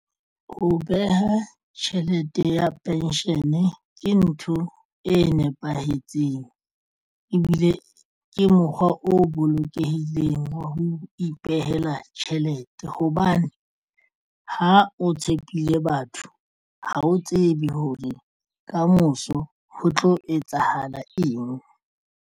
Ho beha tjhelete ya pension ke ntho e nepahetseng ebile ke mokgwa o bolokehileng wa ho ipehela tjhelete hobane ha o tshepile batho ha o tsebe hore kamoso ho tlo etsahala eng.